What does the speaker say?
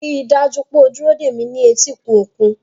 Rí i dájú pé o dúró dè mí ní etíkun òkun.